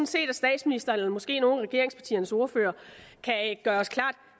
set at statsministeren eller måske nogle af regeringspartiernes ordførere kan gøre os klart